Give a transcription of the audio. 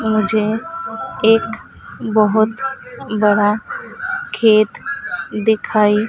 मुझे एक बहुत बड़ा खेत दिखाई--